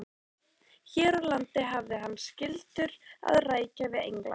Hér á landi hafði hann skyldur að rækja við England.